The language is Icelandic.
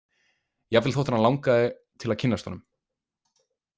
Jafnvel þótt hana langaði til að kynnast honum.